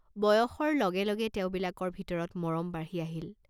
বয়সৰ লগে লগে তেওঁবিলাকৰ ভিতৰত মৰম বাঢ়ি আহিল।